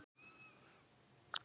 Bókin Komdu út!